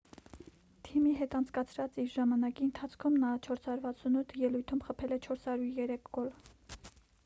թիմի հետ անցկացրած իր ժամանակի ընթացքում նա 468 ելույթում խփել է 403 գոլ